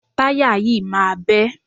Táyà yìí máa bẹ́.